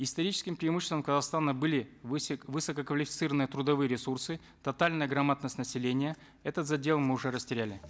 историческим преимуществом казахстана были высококвалифицированные трудовые ресурсы тотальная грамотность населения этот задел мы уже растеряли